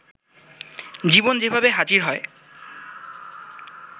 জীবন যেভাবে হাজির হয়